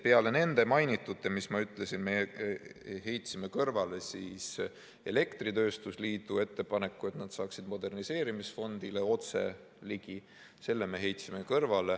Peale nende mainitute, mis ma ütlesin, me heitsime kõrvale elektritööstuse liidu ettepaneku, et nad saaksid moderniseerimisfondile otse ligi.